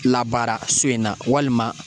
Labaara so in na walima